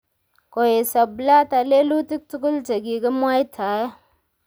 Koesio Blatter lelutik tugul che kikimwaitae